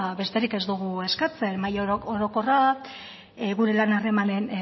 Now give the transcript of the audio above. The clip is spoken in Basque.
besterik ez dugu eskatzen mahai orokorra gure lan harremanen